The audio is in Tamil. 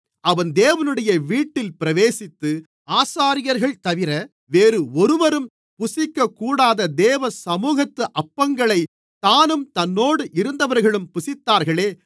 அவன் தேவனுடைய வீட்டில் பிரவேசித்து ஆசாரியர்கள்தவிர வேறு ஒருவரும் புசிக்கக்கூடாத தேவ சமுகத்து அப்பங்களைத் தானும் தன்னோடு இருந்தவர்களும் புசித்தார்களே